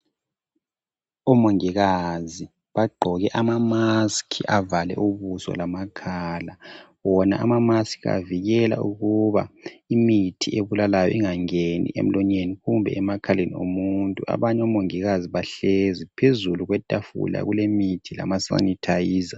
Omongikazi bagqoke ama maski avale ubuso lamakhala, bona amamaski avikela ukuba imithi ebulalayo inga ngeni emlonyeni kumbe emakhaleni omuntu, abanye omongikazi bahlezi phezulu kwetafula kule mithi lama sanithayiza.